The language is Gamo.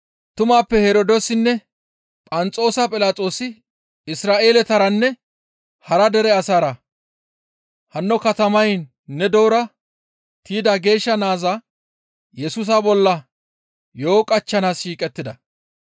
«Tumappe Herdoosinne Phanxoosa Philaxoosi Isra7eeletaranne hara dere asaara hanno katamayn ne doora tiyda geeshsha naaza Yesusa bolla yo7o qachchanaas shiiqettida.